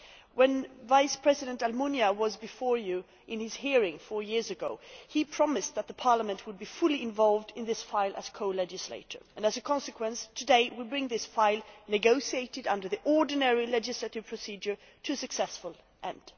When Vice President Almunia was before you in his hearing four years ago, he promised that Parliament would be fully involved in this file as co legislator. As a consequence, today we bring this file negotiated under the ordinary legislative procedure to a successful end.